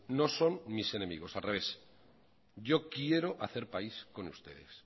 no son mis enemigos al revés yo quiero hacer país con ustedes